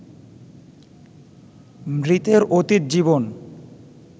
মৃতের অতীত জীবন